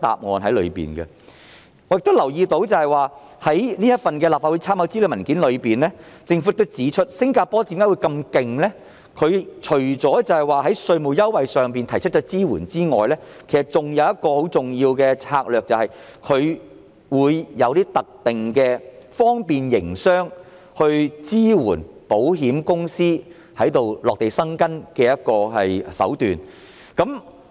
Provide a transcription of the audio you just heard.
我亦留意到，在立法會參考資料文件中，政府亦指出新加坡很厲害，除了提供稅務優惠的支援外，還有一個很重要的策略，便是採用一些特定的方便營商措施，支援保險公司落戶該地。